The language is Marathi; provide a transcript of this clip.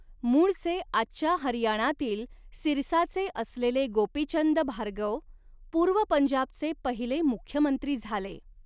मूळचे आजच्या हरियाणातील सिरसाचे असलेले गोपीचंद भार्गव, पूर्व पंजाबचे पहिले मुख्यमंत्री झाले.